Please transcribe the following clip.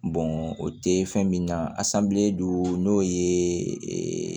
o tɛ fɛn min na a sanbilen don n'o ye